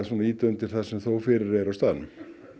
ýta undir það sem þó fyrir er á staðnum